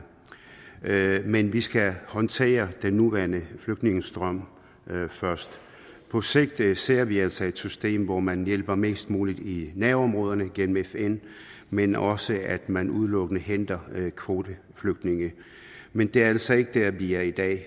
men vi skal håndtere den nuværende flygtningestrøm først på sigt ser vi altså et system hvor man hjælper mest muligt i nærområderne gennem fn men også at man udelukkende henter kvoteflygtninge men det er altså ikke der vi er i dag